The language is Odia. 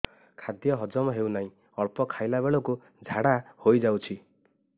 ଖାଦ୍ୟ ହଜମ ହେଉ ନାହିଁ ଅଳ୍ପ ଖାଇଲା ବେଳକୁ ଝାଡ଼ା ହୋଇଯାଉଛି